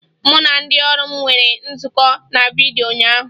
Mụ na ndị ọrụ m nwere nzukọ na vidyo ụnyaahụ